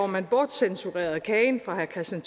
man bortcensurerede kagen fra herre kristian